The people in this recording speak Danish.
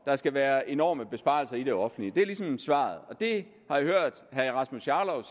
der skal være enorme besparelser i det offentlige det er ligesom svaret det har jeg hørt herre rasmus jarlov